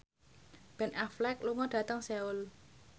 Ben Affleck lunga dhateng Seoul